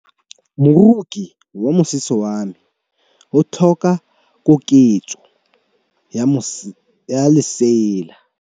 Moroki wa mosese wa me o tlhoka koketsô ya lesela.